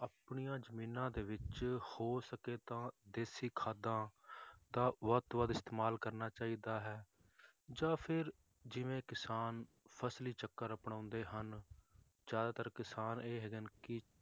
ਆਪਣੀਆਂ ਜ਼ਮੀਨਾਂ ਦੇ ਵਿੱਚ ਹੋ ਸਕੇ ਤਾਂ ਦੇਸੀ ਖਾਦਾਂ ਦਾ ਵੱਧ ਤੋਂ ਵੱਧ ਇਸਤੇਮਾਲ ਕਰਨਾ ਚਾਹੀਦਾ ਹੈ ਜਾਂ ਫਿਰ ਜਿਵੇਂ ਕਿਸਾਨ ਫਸਲੀ ਚੱਕਰ ਅਪਣਾਉਂਦੇ ਹਨ, ਜ਼ਿਆਦਾਤਰ ਕਿਸਾਨ ਇਹ ਹੈਗੇ ਨੇ ਕਿ